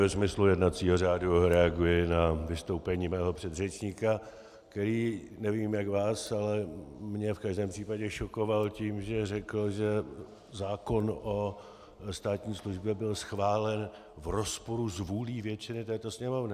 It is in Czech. Ve smyslu jednacího řádu reaguji na vystoupení svého předřečníka, který, nevím, jak vás, ale mě v každém případě šokoval tím, že řekl, že zákon o státní službě byl schválen v rozporu s vůlí většiny této Sněmovny.